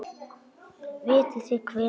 Vitið þið hvenær?